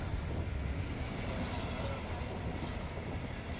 silale ngalokwanele